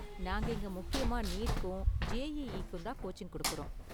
நாங்க இங்க முக்கியமா நீட்க்கும், ஜேஇஇக்கும் தான் கோச்சிங் கொடுக்கறோம்.